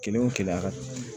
Kelen o kiriya